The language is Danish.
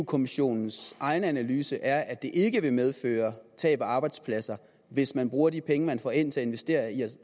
kommissionens egen analyse er at det ikke vil medføre tab af arbejdspladser hvis man bruger de penge man får ind til at investere i at